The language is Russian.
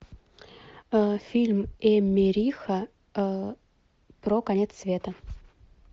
фильм эммериха про конец света